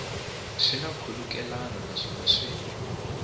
swi na nkhulukelano naswona swi